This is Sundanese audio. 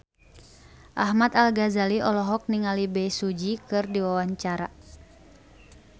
Ahmad Al-Ghazali olohok ningali Bae Su Ji keur diwawancara